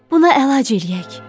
Buna əlac eləyək.